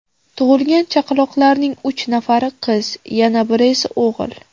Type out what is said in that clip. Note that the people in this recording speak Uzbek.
Tug‘ilgan chaqaloqlarning uch nafari qiz, yana biri esa o‘g‘il.